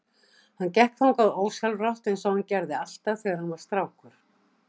Hann gekk þangað ósjálfrátt einsog hann gerði alltaf þegar hann var strákur.